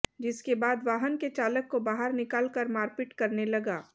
जिसके बाद वाहन के चालक को बाहर निकाल कर मारपीट करने लगा